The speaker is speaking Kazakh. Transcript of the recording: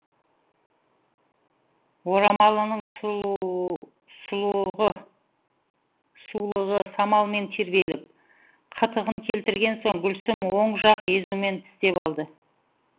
орамалының сулығы самалмен тербеліп қытығын келтірген соң гүлсім оң жақ езуімен тістеп алды